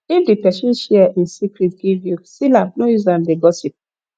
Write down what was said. if di persin share in secret give you seal am no use am de gossip